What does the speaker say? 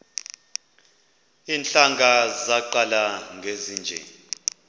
iintlanga zaqala ngezinje